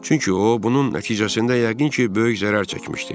Çünki o bunun nəticəsində yəqin ki, böyük zərər çəkmişdi.